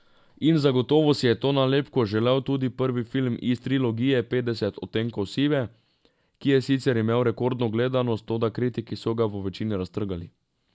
In zagotovo si je to nalepko želel tudi prvi film iz trilogije Petdeset odtenkov sive, ki je sicer imel rekordno gledanost, toda kritiki so ga v večini raztrgali.